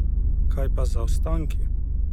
Kaj pa zaostanki?